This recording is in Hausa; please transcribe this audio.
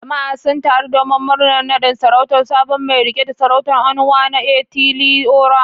Jama’a sun taru domin murnar nadin sarautar sabon mai rike da sarautar, Onwa-na-etili-ora.